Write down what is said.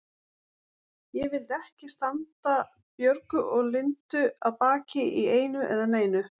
Ég vildi ekki standa Björgu og Lindu að baki í einu eða neinu.